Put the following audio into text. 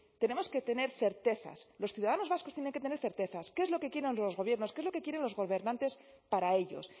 tenemos que tener certezas los ciudadanos vascos tienen que tener certezas qué es lo que quieren los gobiernos qué es lo que quieren los gobernantes para ellos